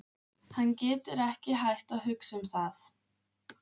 Hann getur ekki hætt að hugsa um það.